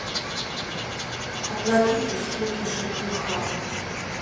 оплатить услуги жкх